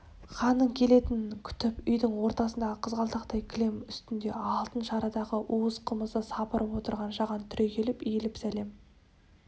ханның келетінін күтіп үйдің ортасындағы қызғалдақтай кілем үстінде алтын шарадағы уыз қымызды сапырып отырған жаған түрегеліп иіліп сәлем